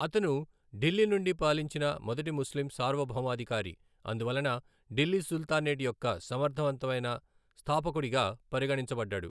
అతను ఢిల్లీ నుండి పాలించిన మొదటి ముస్లిం సార్వభౌమాధికారి, అందువలన ఢిల్లీ సుల్తానేట్ యొక్క సమర్థవంతమైన స్థాపకుడిగా పరిగణించబడ్డాడు.